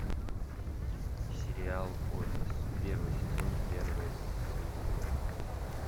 сериал офис первый сезон первая серия